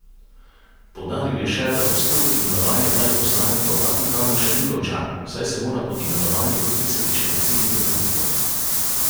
Poudaril je še, da postopek imenovanja veleposlanika v Vatikanu še ni končan, saj se mora pod imenovanje podpisati še predsednik republike.